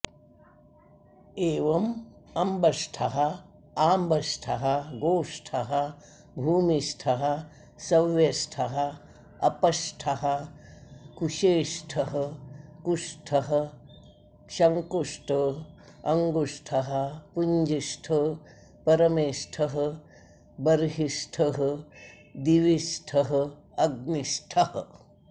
एवमम्बष्ठः आम्बष्ठः गोष्ठः भूमिष्ठः सव्यष्ठः अपष्ठः कुशेष्ठः कुष्ठः शङ्कुष्ट अङ्गुष्ठः पुञ्जिष्ठ परमेष्ठः बर्हिष्ठः दिविष्ठः अग्निष्ठः